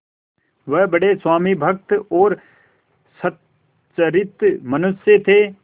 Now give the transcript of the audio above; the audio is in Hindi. वह बड़े स्वामिभक्त और सच्चरित्र मनुष्य थे